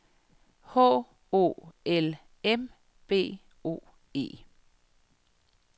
H O L M B O E